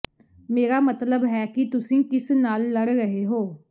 ਮੇਰਾ ਮਤਲਬ ਹੈ ਕਿ ਤੁਸੀਂ ਕਿਸ ਨਾਲ ਲੜ ਰਹੇ ਹੋ